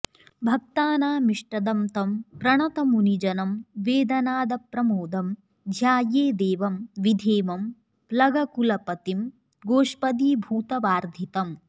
भक्तानामिष्टदं तं प्रणतमुनिजनं वेदनादप्रमोदं ध्यायेदेवं विधेमं प्लगकुलपतिं गोष्पदीभूतवार्धिम्